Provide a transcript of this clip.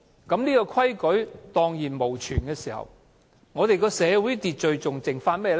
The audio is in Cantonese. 當這個規矩蕩然無存，我們的社會秩序還剩下甚麼？